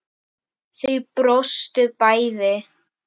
Þau brostu bæði.